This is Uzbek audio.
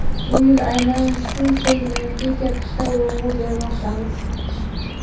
Bu yil aynan shu segmentga katta urg‘u bermoqdamiz.